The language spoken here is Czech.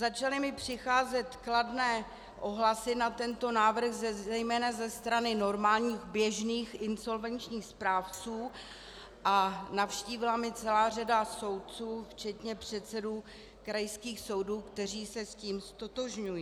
Začaly mi přicházet kladné ohlasy na tento návrh zejména ze strany normálních, běžných insolvenčních správců a navštívila mě celá řada soudců včetně předsedů krajských soudů, kteří se s tím ztotožňují.